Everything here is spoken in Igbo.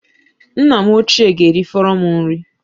Nna m ochie ga-erifọrọ m nri